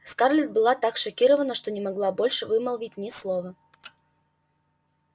скарлетт была так шокирована что не могла больше вымолвить ни слова